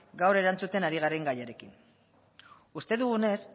gaur erantzuten ari garen gaiarekin uste dugunez